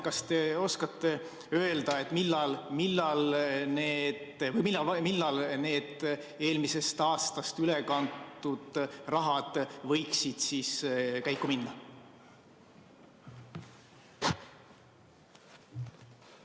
Kas te oskate öelda, millal need eelmisest aastast ülekantud summad võiksid käiku minna?